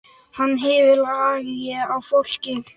Hann hefur lag á fólki.